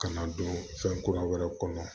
Kana don fɛn kura wɛrɛ kɔnɔ